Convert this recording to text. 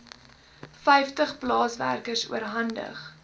vyftig plaaswerkers oorhandig